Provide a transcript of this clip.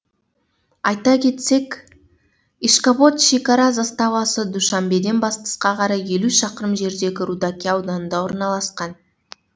айта кетсек ишкобод шекара заставасы душанбеден батысқа қарай елу шақырым жердегі рудаки ауданында орналасқан